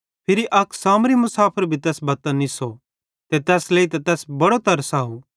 फिरी अक सामरी मुसाफर भी तैस बत्तां निस्सो ते तैस लेइतां तैस बड़ो तरस अव